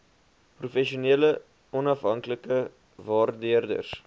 professionele onafhanklike waardeerders